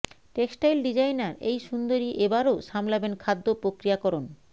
textile designer এই সুন্দরী এ বারও সামলাবেন খাদ্য প্রক্রিয়াকরণ